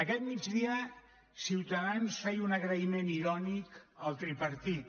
aquest migdia ciutadans feia un agraïment irònic al tripartit